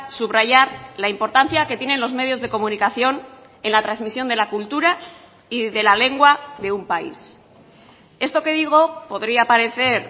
subrayar la importancia que tienen los medios de comunicación en la transmisión de la cultura y de la lengua de un país esto que digo podría parecer